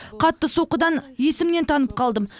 қатты соққыдан есімнен танып қалдым